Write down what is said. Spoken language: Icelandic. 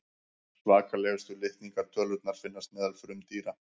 svakalegustu litningatölurnar finnast meðal frumdýra